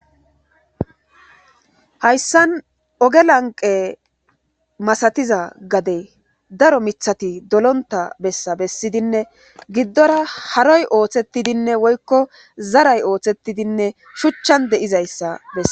hayssan oge lanqe masatiza gade daro mithati dolonta bessa bessidinne giddora haroy ooththetidinne woykko zaray oothettidinne shuchchan de7izayssa bessa